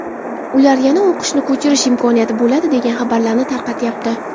ular yana o‘qishni ko‘chirish imkoniyati bo‘ladi degan xabarlarni tarqatyapti.